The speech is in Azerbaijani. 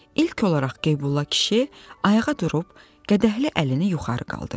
İlk olaraq Qeybulla kişi ayağa durub qədəhli əlini yuxarı qaldırdı.